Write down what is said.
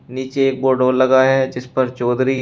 नीचे एक बोर्ड और लगा है जिस पर चौधरी--